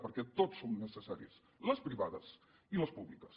perquè tots som necessaris les privades i les públiques